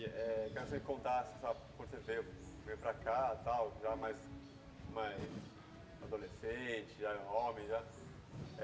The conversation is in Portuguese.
Eh, eu quero que você contasse, sabe, quando você veio veio para cá, tal, já mais mais adolescente, já homem, já.